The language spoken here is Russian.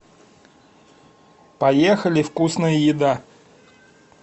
поехали вкусная еда